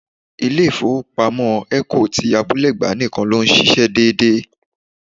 Ilé ifowopamo Eco ti Abúlé-Ẹ̀gbá nìkan ló ń ṣíṣe dédé.